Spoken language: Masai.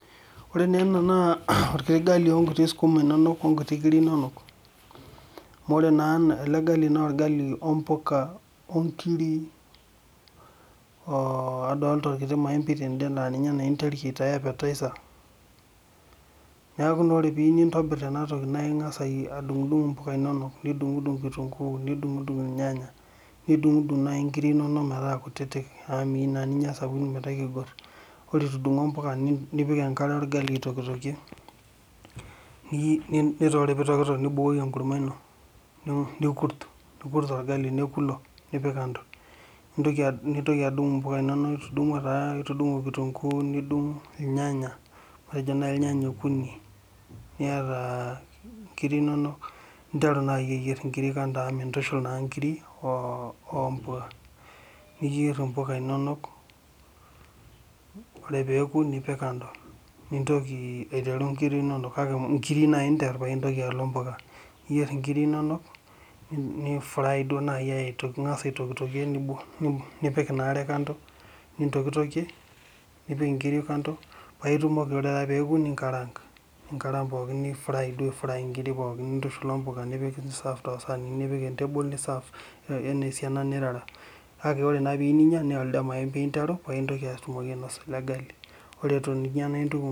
ore naa ena naa orkiti gali onkiti skuma inonok onkuti kiri inonok. amu ore naa ele gali na orgali ompuka onkiri, oo adoolta orkiti maembei tede laa ninye naa interu aitaa appetizer neeku na ore pee iyieu nintobir ena toki naa ing'as adung'idung' impuka inonok. nidung'idung' kitunku. niung'idung' irnyanya. nidung'idung naaji inkiri inonk metaa kutitik. amu miyieu naa ninyia isapukin metaa ekigor. ore itudung'idung'o mpuka. nipik enkare orgali aitokitokie. ore pee itokitok nibukoki enkurma ino. nikurt orgali neku ilo. nipik kando. nintoki apik impuka inonok nitung'uo taa nitudung'o o kitunkuu nidung' irnyanya. matejo naaji irnyanya okuni. niata a nkiri inonok. ninteru naji aa ayier kiri kando amu mintushul naa nkiri oo o mpuka. niyier impuka inonok. ore pee ekunipik kando. nintoki aiteru nkiri inonok, kake inkirui naaji inter paa intoki alo mpuka. niyier nkiri inonok.ni fry duoo naji angas aitokitokie. nipk inaa are kando. nintokitokie nipik nkiri kando. paa itumoki ore taa peeku ninkraang'.ninkaraank pookin ni fry ai fryvduo nkiri pookin aitushul ompuka. nisaafaki isaanini.ni serve ake anaa esiana nirara. kake ore naa pee iyieu ninyia naa elde maembei inter anya paa itumoki ainosa ele gali. ore eton eitu inyia naa intuku.